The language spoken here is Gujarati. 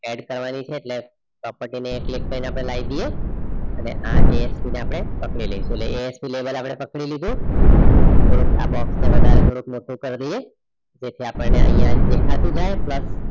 Add કરવાની છે એટલે property ને click કરીને આપણે લાઈ દઈએ અને આ ASP ને આપણે પકડી લઈશું એટલે ASP lable આપણે પકડી લીધું આપણે આ box ને વધારે થોડુંક મોટું કરી દઈએ જેથી આપણને અહીંયા દેખાતું જાય.